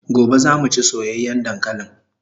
Gobe zamu chi soyayan dankalin